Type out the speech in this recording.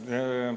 Aitäh!